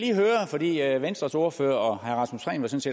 lige høre for venstres ordfører